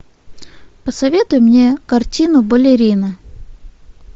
посоветуй мне картину балерина